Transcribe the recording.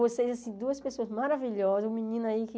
Vocês, assim, duas pessoas maravilhosas, o menino aí que...